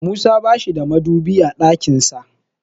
Musa bashi da madubi a ɗakin sa.